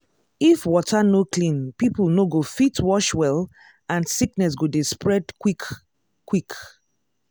if water no clean people no go fit wash well and sickness go dey spread quick-quick.